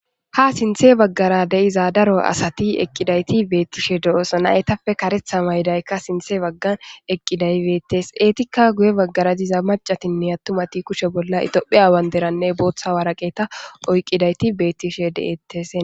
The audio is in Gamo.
Ha sinthe baggara de'iza daro asati eqqidayti beettishe de'oosa naytafe karetha maydaykka sinthe baggan eqqiday beettes eetikka guye baggara diza macatinne attumati kushe bolla itophe aawan deranne booththa waraqeta oyqqidayti beettishe de'ettes.